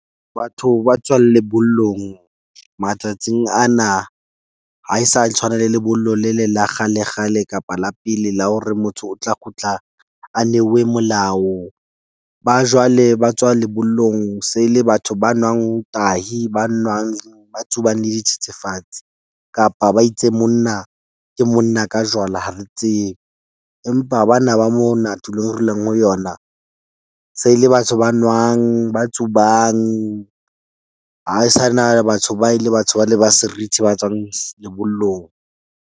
Batho ba tswang lebollong matsatsing ana ha e sa tshwana le lebollo le le la kgale, kgale kapa la pele la hore motho o tla kgutla a neuwe molao. Ba jwale ba tswa lebollong se le batho ba nwang tahi, ba nwang ba tsubang le dithethefatsi kapa ba itse monna ke monna ka jwala, ha re tsebe. Empa bana ba mona tulong, re leng ho yona se le batho ba nwang ba tsubang ha sa na batho ba e le batho ba le ba serithi ba tswang lebollong.